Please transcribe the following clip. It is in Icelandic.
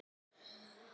Alla vega að sinni.